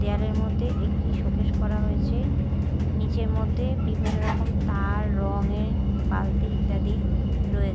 দেওয়ালের মদ্যে একটি শোকেস করা হয়েছে নীচের মদ্যে বিভিন্ন রকম তার রঙে বালতি ইত্যাদি রোয়ে--